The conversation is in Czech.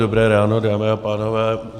Dobré ráno, dámy a pánové.